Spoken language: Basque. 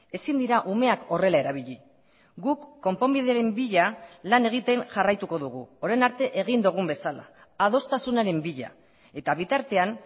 ezin dira umeak horrela erabili guk konponbideren bila lan egiten jarraituko dugu orain arte egin dugun bezala adostasunaren bila eta bitartean